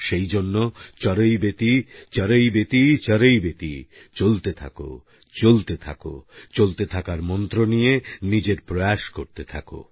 সেই জন্য চরৈবেতি চরৈবেতি চরৈবেতি চলতে থাকো চলতে থাকো চলতে থাকার মন্ত্র নিয়ে নিজের প্রয়াস করতে থাকো